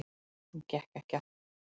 Hún gekk ekki aftur.